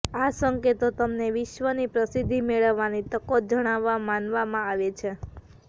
આ સંકેતો તમને વિશ્વની પ્રસિદ્ધિ મેળવવાની તકો જણાવવા માનવામાં આવે છે